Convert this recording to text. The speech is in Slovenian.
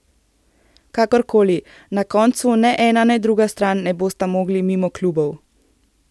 Kakor koli, na koncu ne ena ne druga stran ne bosta mogli mimo klubov.